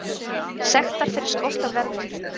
Sektar fyrir skort á verðmerkingum